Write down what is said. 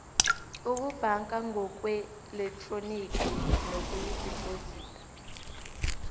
ukubhanka ngokweelektroniki nokudibhozida